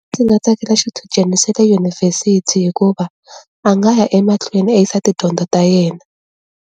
Ndzi nga tsakela xichudeni xa le yunivhesiti hikuva a nga ya emahlweni a yisa tidyondzo ta yena.